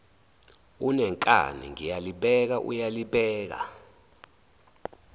unenkani ngiyalibeka uyalibeka